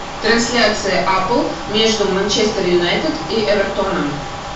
трансляция апл между манчестер юнайтед и эвертоном